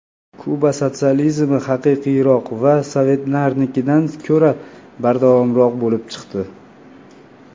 Kuba sotsializmi haqiqiyroq va sovetlarnikidan ko‘ra bardavomroq bo‘lib chiqdi.